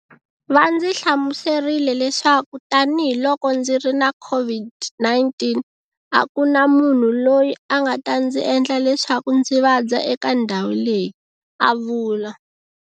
Va ndzi hlamuserile leswaku tanihiloko ndziri na COVID-19, a ku na munhu loyi a nga ta ndzi endla leswaku ndzi vabya eka ndhawu leyi, a vula.